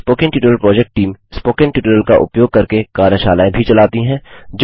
spoken tutorial project team spoken tutorial का उपयोग करके कार्यशालाएँ भी चलाती है